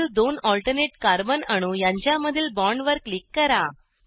पुढील दोन alternate carbon अणू यांच्यामधील बॉन्डवर क्लिक करा